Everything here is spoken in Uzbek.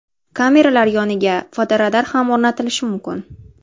Kameralar yoniga fotoradar ham o‘rnatilishi mumkin.